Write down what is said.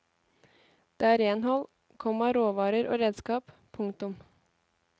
Det er renhold, komma råvarer og redskap. punktum